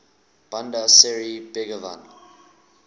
bandar seri begawan